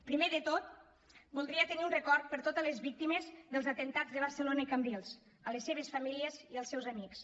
primer de tot voldria tenir un record per totes les víctimes dels atemptats de barcelona i cambrils les seves famílies i els seus amics